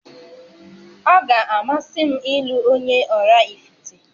Ọ ga-amasị m ịlụ onye Ọraifite